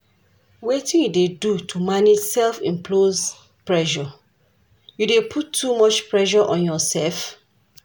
Wetin you dey do to manage self-imposed pressure, you dey put too much pressure on yourself?